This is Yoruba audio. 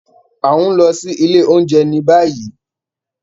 A n lọ si ile ounjẹ ni bayi.